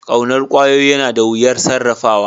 Ƙaunar ƙwayoyi yana da wuyar sarrafawa